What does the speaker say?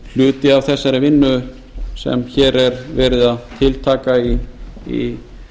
hluti af þessari vinnu sem hér er verið að tiltaka í